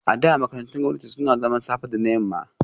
A da, makarantun gwamnati suna zaman safe da na yamma